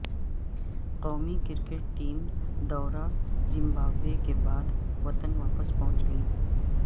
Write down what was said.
قومی cricket team دورہ Zimbabwe کے بعد وطن واپس پہنچ گئی